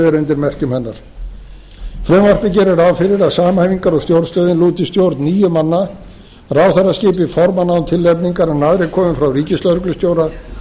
er undir merkjum hennar frumvarpið gerir ráð fyrir að samhæfingar og stjórnstöð lúti stjórn níu manna ráðherra skipi formann án tilnefningar en aðrir komi frá ríkislögreglustjóra